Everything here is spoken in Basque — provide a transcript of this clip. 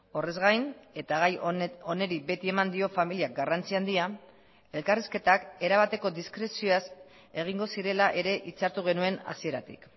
horrez gain eta gai honi beti eman dio familiak garrantzi handia elkarrizketak erabateko diskrezioaz egingo zirela ere itzartu genuen hasieratik